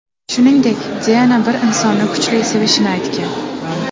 Shuningdek, Diana bir insonni kuchli sevishini aytgan.